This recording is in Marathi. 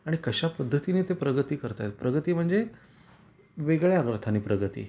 आणि कश्या पद्धतीने ते प्रगती करता आहेत. प्रगती म्हणजे वेगळ्या अर्थाने प्रगती.